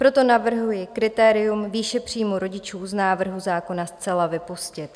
Proto navrhuji kritérium výši příjmu rodičů z návrhu zákona zcela vypustit.